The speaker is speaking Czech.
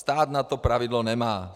Stát na to pravidlo nemá.